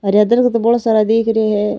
हरिया दरकत बड़ो सारा दीख रे है।